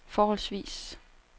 forholdsvis